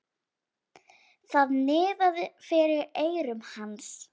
Það niðaði fyrir eyrum hans.